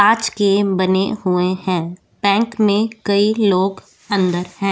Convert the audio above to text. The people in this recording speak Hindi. कांच के बने हुए हैं बैंक में कई लोग अंदर है।